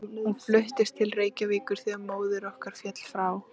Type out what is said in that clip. Hún fluttist til Reykjavíkur þegar móðir okkar féll frá.